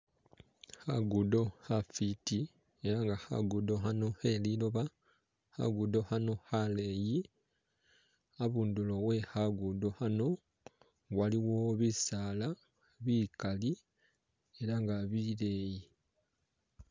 Khagudo khafiti elanga khagudo khano kheliloba khagudo khano khaleyi khabundulo we khagudo khano waliwo bisaala bikali elanga bileyi